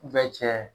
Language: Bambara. cɛ